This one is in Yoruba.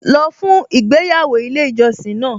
Lọ fún ìgbéyàwó ilé ìjọsìn náà